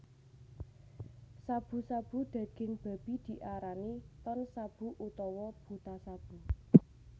Shabu shabu daging babi diarani Tonshabu utawa Butashabu